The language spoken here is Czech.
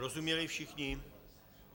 Rozuměli všichni?